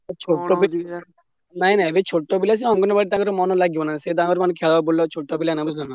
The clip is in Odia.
ନାଇଁ ନାଇଁ ଏବେ ସିଏ ଛୋଟ ପିଲା ସିଏ ଅଙ୍ଗନବାଡିରେ ତାଙ୍କର ମନ ଲାଗିବନି ସିଏ ତାଙ୍କର ଖେଳ ବୁଲ ଛୋଟ ପିଲା ମାନେ ବୁଝି ପାରିଲ ନାଁ।